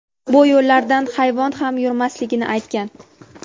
bu yo‘llardan hayvon ham yurmasligini aytgan.